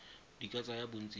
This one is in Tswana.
di ka tsaya bontsi jwa